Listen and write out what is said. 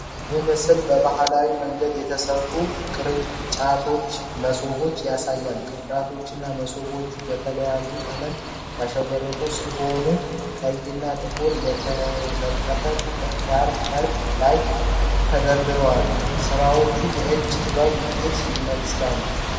ይህ ምስል በባህላዊ መንገድ የተሠሩ ቅርጫቶችንና መሶቦችን ያሳያል:: ቅርጫቶቹና መሶቦቹ በተለያዩ ቀለማት ያሸበረቁ ሲሆኑ:: ቀይና ጥቁር የተነጠፈ ጨርቅ ላይ ተደርድረዋል:: ሥራዎቹ የእጅ ጥበብ ውጤቶች ይመስላሉ::